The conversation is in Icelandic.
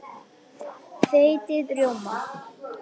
Þeytið rjóma.